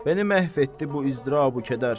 Məni məhv etdi bu izdırab-u kədər.